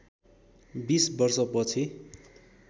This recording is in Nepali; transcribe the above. २० वर्षपछि